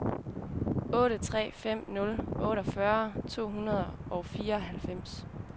otte tre fem nul otteogfyrre to hundrede og fireoghalvfems